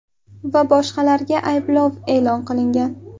va boshqalarga ayblov e’lon qilingan.